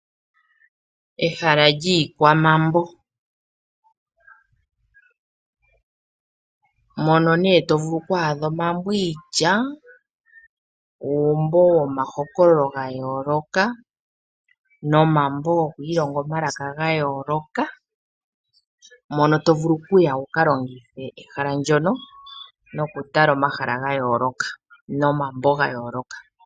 Ehala lyiikwamambo , mono ne tovulu okwadha omambo iitya, uumbo womahokololo ga yoloka nomambo gwokwilonga omalaka gayooloka ,mono tovulu okuya wuka longitha eshala ndoka noku tala omashala gaayoloka, noomambo gaayoloka.